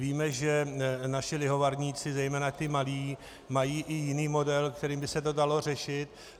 Víme, že naši lihovarníci, zejména ti malí, mají i jiný model, kterým by se to dalo řešit.